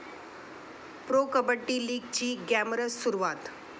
pro 'kabaddi' लीगची glamorous सुरुवात